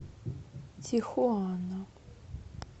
тихуана